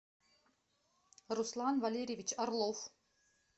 руслан валерьевич орлов